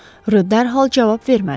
Rö dərhal cavab vermədi.